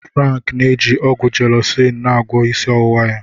Frank n'eji ọgwụ Jelọcin na agwọọ isi ọwụwa ya.